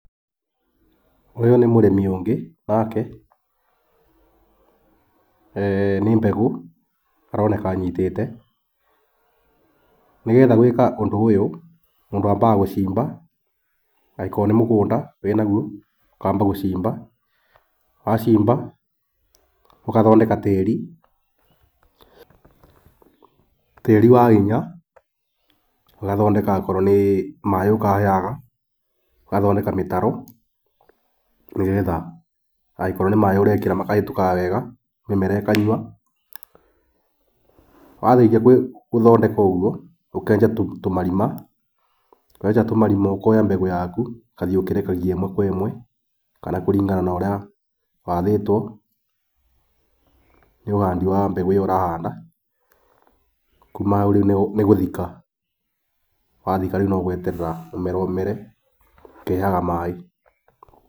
Ũyũ nĩ mũrĩmi ũngĩ nake, nĩ mbegũ aroneka anyitĩte. Nĩgetha gwĩka ũndũ ũyũ mũndũ ambaga gũcimba, angikorwo nĩ mũgũnda e naguo ũkamba gũcimba. Wacimba gũthondeka tĩri ,tĩri wahinya, ũgathondeka okorwo nĩ maĩ ũkaheaga, ũgathondeka mĩtaro, nĩgetha angĩkorwo nĩ maĩ ũrekĩra makahĩtũka wega mĩmera ĩkanyua . Warĩkia gũthondeka ũguo ũkenja tũmarima, wenja tũmarima ũkoya mbegũ yaku ũgathiĩ ũkĩrekagia ĩmwe kwa ĩmwe kana kũringana na ũrĩa wathĩtwo nĩ ũhandi wa mbegũ ĩyo ũrahanda, kũma hau rĩu nĩ gũthika. Kuma hau rĩu no gweterera mũmera ũmere ũkĩheaga maĩ.